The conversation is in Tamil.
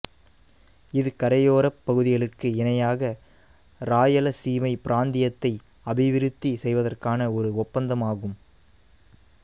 இது கரையோரப் பகுதிகளுக்கு இணையாக இராயலசீமை பிராந்தியத்தை அபிவிருத்தி செய்வதற்கான ஒரு ஒப்பந்தமாகும்